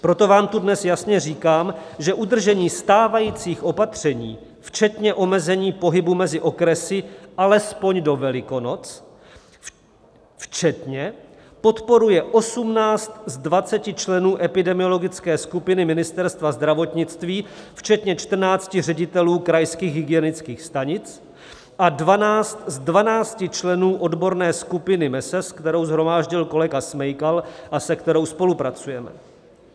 Proto vám tu dnes jasně říkám, že udržení stávajících opatření včetně omezení pohybu mezi okresy alespoň do Velikonoc včetně podporuje 18 z 20 členů epidemiologické skupiny Ministerstva zdravotnictví včetně 14 ředitelů krajských hygienických stanic a 12 z 12 členů odborné skupiny MeSES, kterou shromáždil kolega Smejkal a se kterou spolupracujeme.